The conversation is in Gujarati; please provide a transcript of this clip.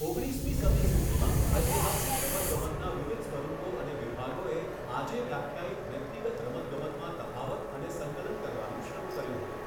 ઓગણીસમી સદી સુધીમાં, ઐતિહાસિક રમતગમતના વિવિધ સ્વરૂપો અને વિભાગોએ આજે વ્યાખ્યાયિત વ્યક્તિગત રમતગમતમાં તફાવત અને સંકલન કરવાનું શરૂ કર્યું હતું.